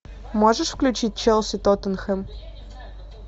можешь включить челси тоттенхэм